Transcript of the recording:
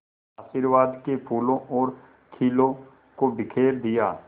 आशीर्वाद के फूलों और खीलों को बिखेर दिया